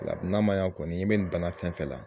O la n'a ma ɲa kɔni i bɛ nin balan fɛn fɛn la